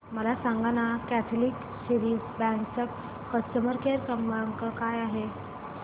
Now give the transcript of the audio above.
मला सांगाना Catholic Syrian Bank चा कस्टमर केअर क्रमांक काय आहे